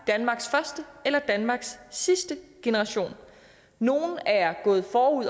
danmarks første eller danmarks sidste generation nogle er gået forud